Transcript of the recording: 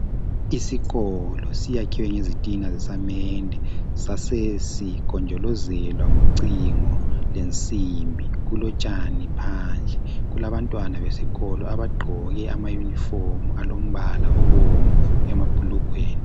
Isikolo siyakhiwe ngezitina zesamende sasesigonjolozelwa ngocingo lensimbi. Kulotshani phandle. Kulabantwana besikolo abagqoke amayunifomu alombala obomvu emabhulugweni.